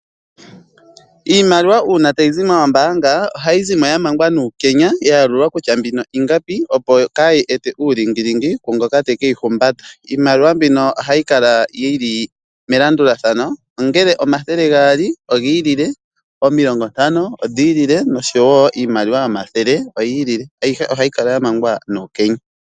Iimaliwa uuna tayi zi moombaanga ohayi zimo ya mangwa nuukenya ya yalulwa kutya mbino ingapi opo kayi ete uulingilingi ku ngoka tekeyi humbata. Iimaliwa mbino ohayi kala yili melandulathano ongele omathele gaali ogiilile, omilongo ntano odhiilile noshowo iimaliwa yomathele oyiililie. Ayihe ohayi kala ya mangwa nuukenya.